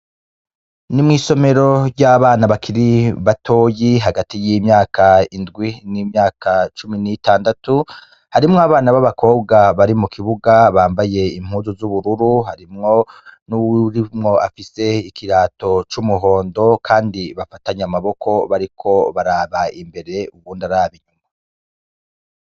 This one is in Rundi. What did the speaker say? Ni mw'isomero ry'abana bakiri batoyi hagati y'imyaka indwi n'imyaka cumi n'itandatu harimwo abana b'abakobwa bari mu kibuga bambaye impuzu z'ubururu harimwo n'urimwo afise ikirato c'umuhondo, kandi bafatanye amaboko bariko baraba imbere uwundi araba inyuma.